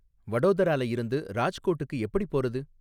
வடோதரால இருந்து ராஜ்கோட்டுக்கு எப்படிப் போறது?